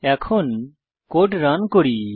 এখন code run করি